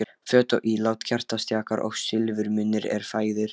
Föt og ílát, kertastjakar og silfurmunir eru fægðir.